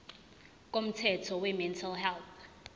komthetho wemental health